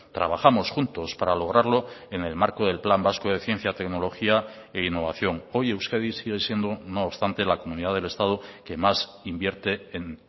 trabajamos juntos para lograrlo en el marco del plan vasco de ciencia tecnología e innovación hoy euskadi sigue siendo no obstante la comunidad del estado que más invierte en